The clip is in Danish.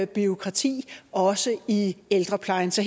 bureaukrati også i ældreplejen så